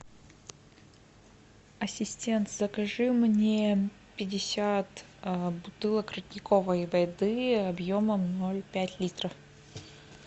ассистент закажи мне пятьдесят бутылок родниковой воды объемом ноль пять литров